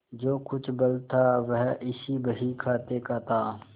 जो कुछ बल था वह इसी बहीखाते का था